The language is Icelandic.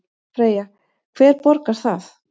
Freyja: Hver borgar það?